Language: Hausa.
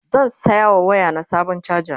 zan saya wa waya na Sabon chaja